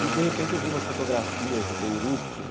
E, de repente, eu vi umas fotografias de Beirute.